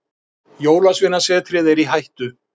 Jólasveinasetrið er í hættu.